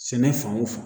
Sɛnɛ fan o fan